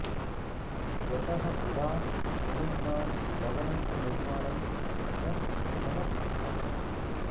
यतः पुरा समुद्रात् लवणस्य निर्माणं न भवति स्म